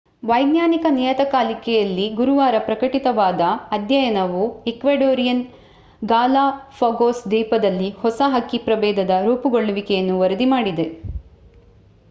ವಿಜ್ಞಾನ ನಿಯತಕಾಲಿಕೆಯಲ್ಲಿ ಗುರುವಾರ ಪ್ರಕಟಿತವಾದ ಅಧ್ಯಯನವು ಈಕ್ವಡೋರಿಯನ್ ಗಾಲಾಪಾಗೋಸ್ ದ್ವೀಪದಲ್ಲಿ ಹೊಸ ಹಕ್ಕಿ ಪ್ರಭೇದದ ರೂಪುಗೊಳ್ಳುವಿಕೆಯನ್ನು ವರದಿ ಮಾಡಿದೆ